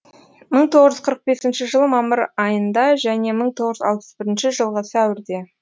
мың тоғыз жүз қырық бесінші жылы мамыр айында және мың тоғыз жүз алпыс бірінші жылғы сәуірде